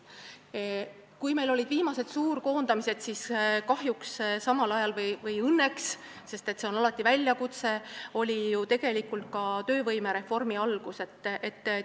Kui meil olid viimased suurkoondamised, siis samal ajal kahjuks või õnneks, sest see on alati ka väljakutse, oli ju tegelikult töövõimereformi algus.